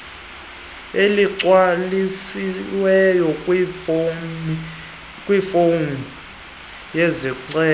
eligcwalisiweyo kwifomu yesicelo